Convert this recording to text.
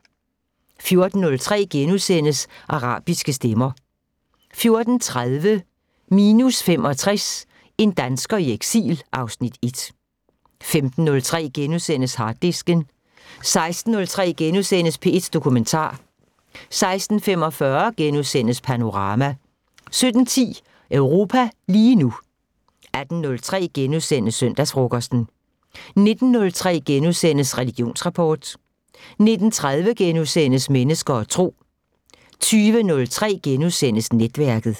14:03: Arabiske stemmer * 14:30: Minus 65 – En dansker i eksil (Afs. 1) 15:03: Harddisken * 16:03: P1 Dokumentar * 16:45: Panorama * 17:10: Europa lige nu 18:03: Søndagsfrokosten * 19:03: Religionsrapport * 19:30: Mennesker og Tro * 20:03: Netværket *